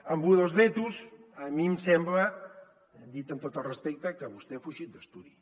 amb lo dels vetos a mi em sembla dit amb tot el respecte que vostè ha fugit d’estudi